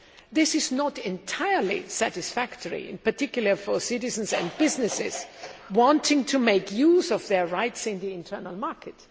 This is not entirely satisfactory, in particular, for citizens and businesses wanting to make use of their rights in the internal market.